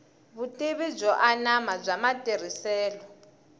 vutivi byo anama bya matirhiselo